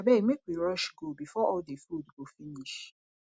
abeg make we rush go before all the food go finish